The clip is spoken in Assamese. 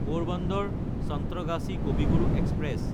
পৰবান্দাৰ–চন্ত্ৰগাছী কবি গুৰু এক্সপ্ৰেছ